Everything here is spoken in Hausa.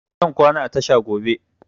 Zan kwana a tasha gobe